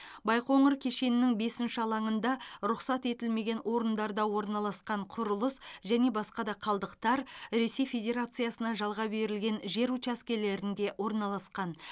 байқоңыр кешенінің бесінші алаңында рұқсат етілмеген орындарда орналасқан құрылыс және басқа да қалдықтар ресей федерациясына жалға берілген жер учаскелерінде орналасқан